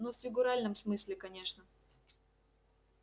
ну в фигуральном смысле конечно